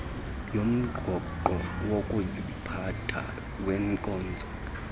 yomgaqo wokuziphatha wenkonzo